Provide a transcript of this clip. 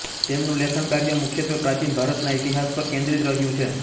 તેમનું લેખન કાર્ય મુખ્યત્ત્વે પ્રાચીન ભારતના ઇતિહાસ પર કેન્દ્રિત રહ્યું છે